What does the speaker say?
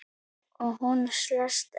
Og hún selst enn.